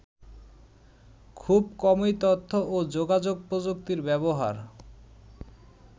খুব কমই তথ্য ও যোগাযোগ প্রযুক্তির ব্যবহার